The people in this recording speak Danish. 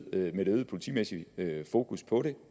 politimæssigt fokus på det